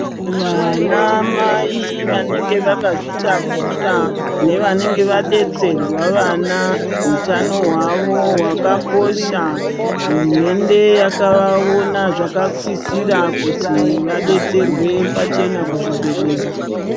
Vana mai vanenge vakazvitakura nevanenge vadetserwa vana hutano hwavo hwakakosha , hurumende yakavaona zvakasirira kuti vadetserwe pachena kuzvibhedhlera.